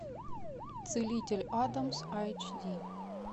целитель адамс айч ди